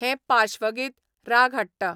हें पाश्वगीत राग हाडटा